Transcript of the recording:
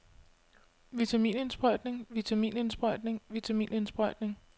vitaminindsprøjtning vitaminindsprøjtning vitaminindsprøjtning